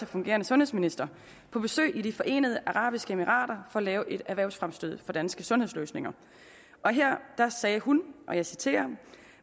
fungerende sundhedsminister på besøg i de forenede arabiske emirater for at lave et erhvervsfremstød for danske sundhedsløsninger her sagde hun og jeg citerer